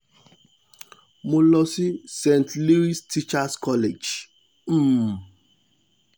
mo lọ sí st leos teachers college um